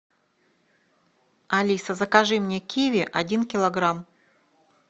алиса закажи мне киви один килограмм